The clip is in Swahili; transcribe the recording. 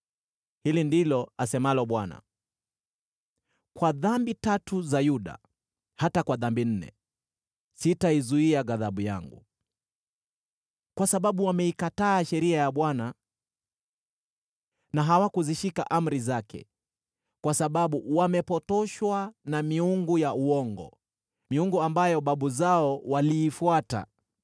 Hili ndilo asemalo Bwana : “Kwa dhambi tatu za Yuda, hata kwa dhambi nne, sitaizuia ghadhabu yangu. Kwa sababu wameikataa sheria ya Bwana na hawakuzishika amri zake, kwa sababu wamepotoshwa na miungu ya uongo, miungu ambayo babu zao waliifuata.